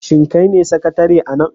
Shin kai ne sakatare a nan?